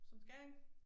Som Skæring